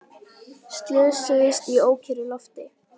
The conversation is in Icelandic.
Slösuðust í ókyrru lofti